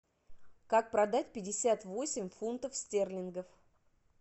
как продать пятьдесят восемь фунтов стерлингов